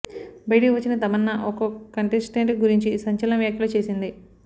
బయటకు వచ్చిన తమన్నా ఒక్కో కంటెస్టెంట్ గురించి సంచలన వ్యాఖ్యలు చేసింది